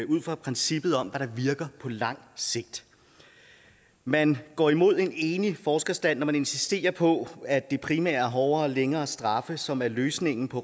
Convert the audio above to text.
ud fra princippet om hvad der virker på lang sigt man går imod en enig forskerstand når man insisterer på at det primært er hårdere og længere straffe som er løsningen på